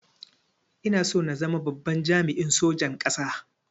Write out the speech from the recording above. Ina son zama babban jami'in sojan ƙasa